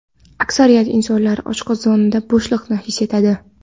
Aksariyat insonlar oshqozonida bo‘shliqni his etadi.